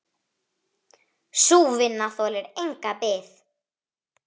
Sú vinna þolir enga bið.